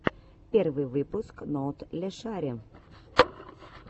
первый выпуск ноутлешари